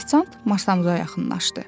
Ofisiant masamıza yaxınlaşdı.